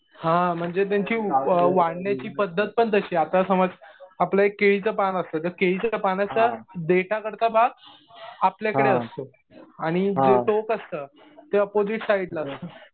हा म्हणजे त्यांची वाढण्याची पद्धत पण तशी आहे. आता समज आपलं एक केळीचं पण असतं. त्या केळीच्या पानाच्या देठाकडचा भाग आपल्याकडे असतो. आणि जे टोक असतं ते ऑपॉजिट साईडला असतं.